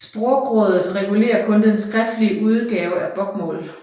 Språkrådet regulerer kun den skriftlige udgave af bokmål